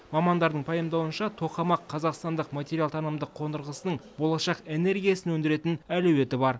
мамандардың пайымдауынша тоқамақ қазақстандық материалтанымдық қондырғысының болашақ энергиясын өндіретін әлеуеті бар